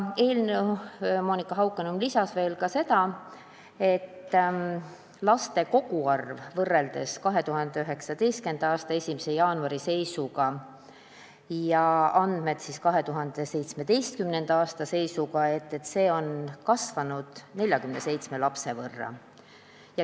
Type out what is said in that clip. Monika Haukanõmm lisas, et kui võrrelda andmeid 2019. aasta 1. jaanuari seisuga ja 2017. aasta 1. jaanuari seisuga, siis laste koguarv on kasvanud 47 lapse võrra.